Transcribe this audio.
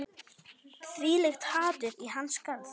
Þvílíkt hatur í hans garð